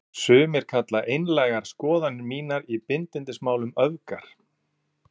Sumir kalla einlægar skoðanir mínar í bindindismálum öfgar.